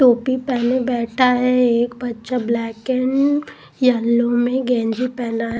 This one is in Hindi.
टोपी पहने बैठा है एक बच्चा ब्लैक एंड येलो में गेंजी पहना है।